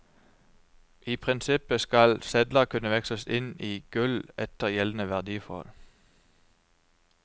I prinsippet skal sedler kunne veksles inn i gull etter gjeldende verdiforhold.